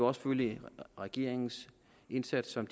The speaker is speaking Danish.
også følge regeringens indsats som